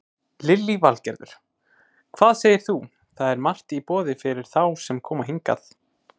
Lillý Valgerður: Hvað segir þú, það er margt í boði fyrir þá sem koma hingað?